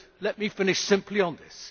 Let me finish simply on this.